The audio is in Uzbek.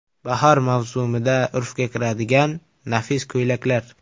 Bahor mavsumida urfga kiradigan nafis ko‘ylaklar .